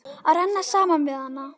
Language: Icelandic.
Að renna saman við hana.